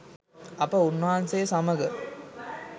අප උන්වහන්සේ සමග